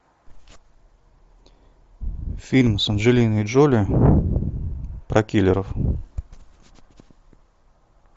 фильм с анджелиной джоли про киллеров